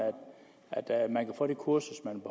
at man kan få det kursus man